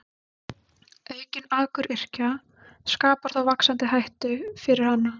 Aukin akuryrkja skapar þó vaxandi hættu fyrir hana.